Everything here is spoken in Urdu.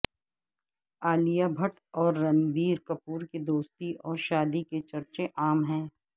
عالیہ بھٹ اور رنبیر کپور کے دوستی اور شادی کے چرچے عام ہیں